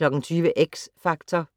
20:00: X Factor